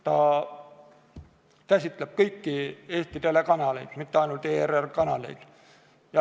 See käsitleb kõiki Eesti telekanaleid, mitte ainult ERR-i kanaleid.